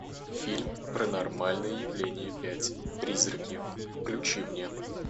фильм паранормальное явление пять призраки включи мне